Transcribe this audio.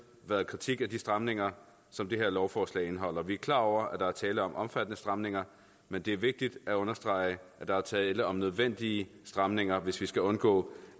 været kritik af de stramninger som det her lovforslag indeholder vi er klar over at der er tale om omfattende stramninger men det er vigtigt at understrege at der er tale om nødvendige stramninger hvis vi skal undgå